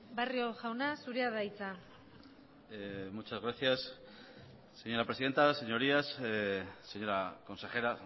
barrio jauna zurea da hitza muchas gracias señora presidenta señorías señora consejera